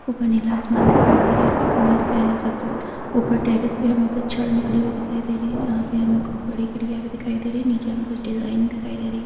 ऊपर नीला आसमान दिखाई दे रहा है हमे सबसे ऊपर टेरेस पे हमे कुछ छड़ निकली हुई दिखाई दे रही है यहां पे हमे कुछ भी दिखाई दे रही है नीचे हमे कुछ डिजाइन दिखाई दे रही है।